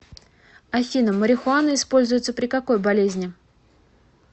афина марихуана используется при какой болезни